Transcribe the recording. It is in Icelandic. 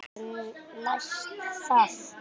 En næst það?